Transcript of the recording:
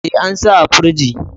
E, an sa a firji.